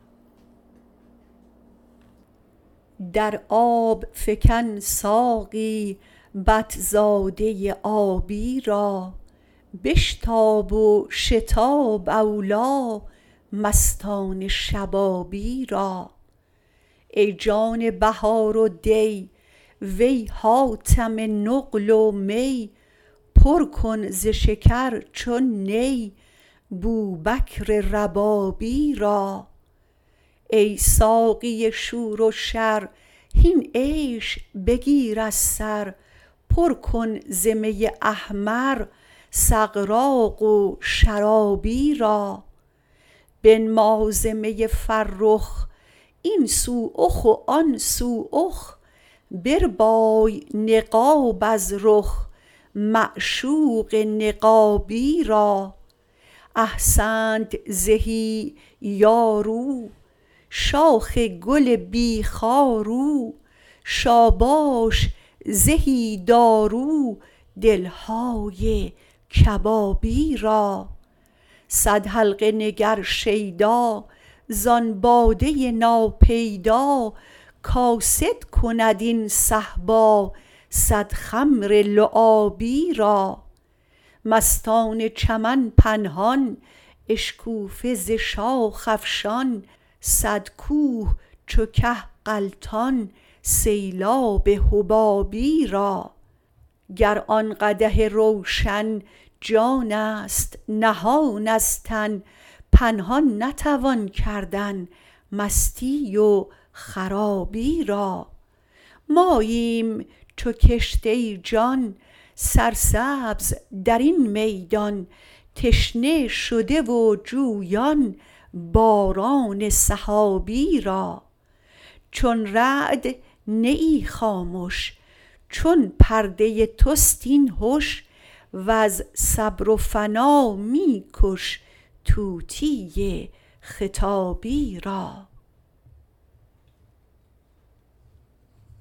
در آب فکن ساقی بط زاده آبی را بشتاب و شتاب اولی مستان شبابی را ای جان بهار و دی وی حاتم نقل و می پر کن ز شکر چون نی بوبکر ربابی را ای ساقی شور و شر هین عیش بگیر از سر پر کن ز می احمر سغراق و شرابی را بنما ز می فرخ این سو اخ و آن سو اخ بربای نقاب از رخ معشوق نقابی را احسنت زهی یار او شاخ گل بی خار او شاباش زهی دارو دل های کبابی را صد حلقه نگر شیدا زان باده ناپیدا کاسد کند این صهبا صد خمر لعابی را مستان چمن پنهان اشکوفه ز شاخ افشان صد کوه چو که غلطان سیلاب حبابی را گر آن قدح روشن جانست نهان از تن پنهان نتوان کردن مستی و خرابی را ماییم چو کشت ای جان سرسبز در این میدان تشنه شده و جویان باران سحابی را چون رعد نه ای خامش چون پرده تست این هش وز صبر و فنا می کش طوطی خطابی را